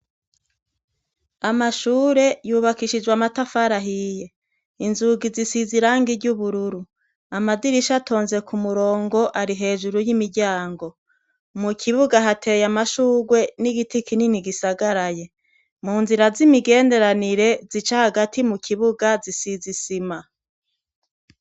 Amashure yubakishijwe amatafarahiye, inzugi zisiza iranga iry' ubururu, amadirisha atonze ku murongo ari hejuru y'imiryango, mu kibuga hateye amashurwe n'igiti kinini gisagaraye, mu nzira z'imigenderanire zica hagati mu kibuga zisiz’isima.